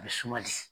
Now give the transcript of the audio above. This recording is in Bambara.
A bɛ suma di